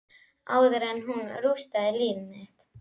Áður en hún rústar líf mitt.